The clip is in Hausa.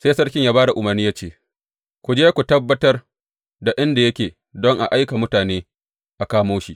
Sai sarki ya ba da umarni ya ce, Ku je ku tabbatar da inda yake don in aika mutane a kamo shi.